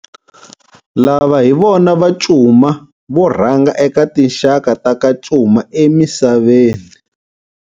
Lava hi vona va Cuma vo rhanga eka tinxaka ta ka Cuma emisaveni.